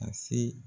Ka se